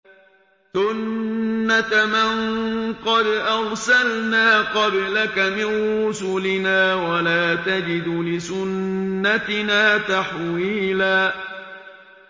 سُنَّةَ مَن قَدْ أَرْسَلْنَا قَبْلَكَ مِن رُّسُلِنَا ۖ وَلَا تَجِدُ لِسُنَّتِنَا تَحْوِيلًا